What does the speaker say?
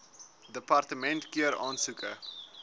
departement keur aansoeke